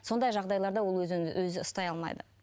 сондай жағдайларда ол өзін өзі ұстай аламайды